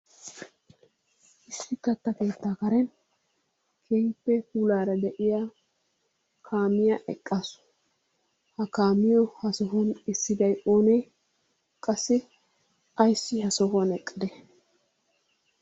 Issi kaatta keettaa kareeni keehippe puullara de'iyaa kaamiyaa eqqaasu. Ha kaamiyoo ha sohuwaani esidday oone? Qassi ayssi ha sohuwaan eqqade?